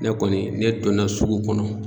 Ne kɔni ne donna sugu kɔnɔ.